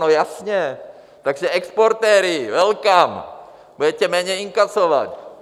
No jasně, takže exportéři - welcome, budete méně inkasovat.